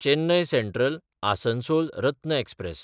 Chennai सँट्रल–आसनसोल Ratna express